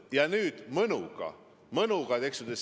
Ja nüüd te mõnuga – mõnuga, eks ole!